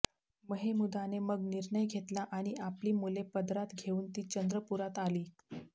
महेमुदाने मग निर्णय घेतला आणि आपली मुले पदरात घेऊन ती चंद्रपुरात आली